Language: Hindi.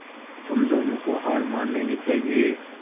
तुम दोनों को हार मान लेनी चाहियें